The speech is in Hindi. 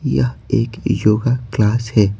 यह एक योगा क्लास है।